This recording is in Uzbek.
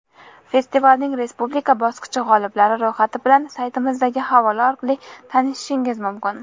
Festivalning respublika bosqichi g‘oliblari ro‘yxati bilan saytimizdagi havola orqali tanishishingiz mumkin.